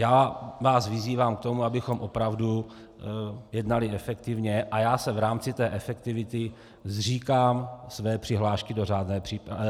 Já vás vyzývám k tomu, abychom opravdu jednali efektivně, a já se v rámci té efektivity zříkám své přihlášky do řádné diskuse.